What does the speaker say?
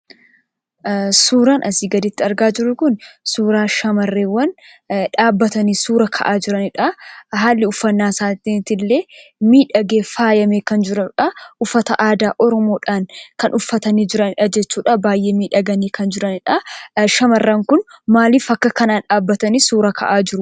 Suuraan asii gaditti argaa jirru kun suuraa shamarreewwan dhaabbatanii suuraa ka'aa jiraniidha. Haalli uffannaa isaaniillee miidhagee faayamee kan jirudha. Uffata aadaa oromoodhaan kan uffatanii jiranidha jechuudha; baay'ee miidhaganii kan jiranidha. Shamarran kun maaliif akka kanaa dhaabbatanii suuraa ka'aa jiruu?